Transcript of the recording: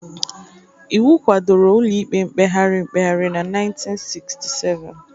Iwu kwadoro Ụlọikpe Mkpegharị Mkpegharị na 1967